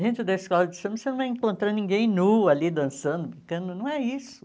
Dentro da escola de samba você não vai encontrar ninguém nu ali dançando, brincando, não é isso.